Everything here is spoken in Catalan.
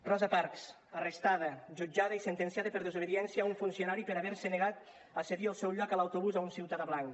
rosa parks arrestada jutjada i sentenciada per desobediència a un funcionari per haver se negat a cedir el seu lloc a l’autobús a un ciutadà blanc